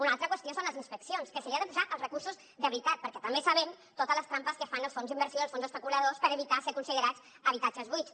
una altra qüestió són les inspeccions que s’hi han de posar els recursos de veritat perquè també sabem totes les trampes que fan els fons d’inversió els fons especuladors per evitar ser considerats habitatges buits